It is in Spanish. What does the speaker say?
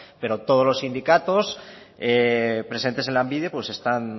pero todos los sindicatos presentes en lanbide